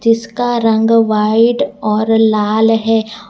इसका रंग व्हाइट और लाल है।